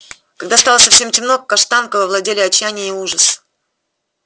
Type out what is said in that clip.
когда стало совсем темно каштанкою овладели отчаяние и ужас